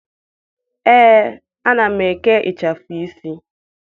Ee, ana m eke ịchafụ isi.